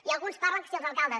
i alguns parlen que si els alcaldes